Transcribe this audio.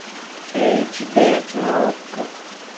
эйч д на окко